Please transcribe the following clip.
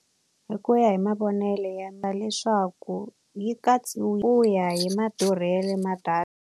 Hi ku ya hi mavonelo endla leswaku yi ku ya hi madurhelo ma data.